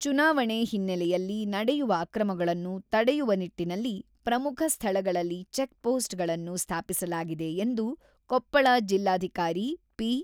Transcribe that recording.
ಚುನಾವಣೆ ಹಿನ್ನೆಲೆಯಲ್ಲಿ ನಡೆಯುವ ಅಕ್ರಮಗಳನ್ನು ತಡೆಯುವ ನಿಟ್ಟಿನಲ್ಲಿ ಪ್ರಮುಖ ಸ್ಥಳಗಳಲ್ಲಿ ಚೆಕ್ ಪೋಸ್ಟ್ ಗಳನ್ನು ಸ್ಥಾಪಿಸಲಾಗಿದೆ ಎಂದು ಕೊಪ್ಪಳ ಜಿಲ್ಲಾಧಿಕಾರಿ ಪಿ.